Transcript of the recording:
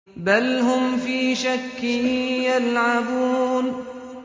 بَلْ هُمْ فِي شَكٍّ يَلْعَبُونَ